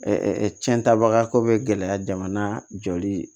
cɛntaba ko bɛ gɛlɛya jamana jɔli